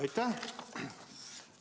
Aitäh!